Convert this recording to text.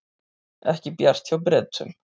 Ekki bjart hjá Bretum